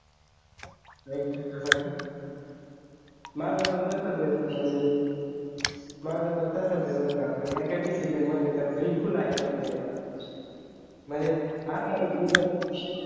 नाहीच आहे का माझा पण तसेच आहे म्हणजे माझं पण तसच आहे बरं का पण एका decision मध्ये विविध ऐकत नाहीये म्हणजे असा आहे की